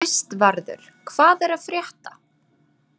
Kristvarður, hvað er að frétta?